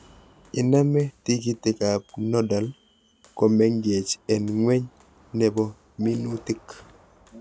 Iname tikiikikab nodal komengech, en ngweny nebo minuutik